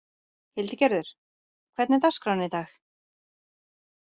Hildigerður, hvernig er dagskráin í dag?